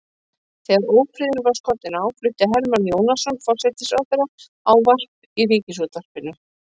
Þegar ófriðurinn var skollinn á flutti Hermann Jónasson forsætisráðherra ávarp í ríkisútvarpið.